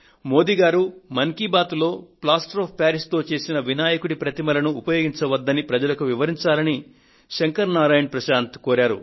మోదీ గారు మన్ కీ బాత్ లో plaster of Paris తో చేసిన వినాయకుడి ప్రతిమలను ఉపయోగించవద్దని ప్రజలకు వివరించాలని శంకర్ నారాయణ్ ప్రశాంత్ కోరారు